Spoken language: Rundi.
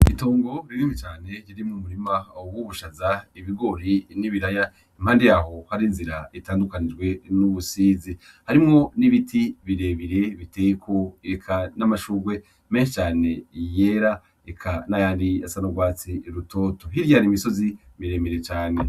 Itongo rinini cane riri mu murima w'ubushaza ibigori n'ibiraya impande yaho hari inzira itandukanijwe n'ubusizi harimwo n'ibiti birebire biteyeko, eka n'amashurwe menshi cane yera eka nayari asa n'urwatsi rutoto, hiryari imisozi miremire cane.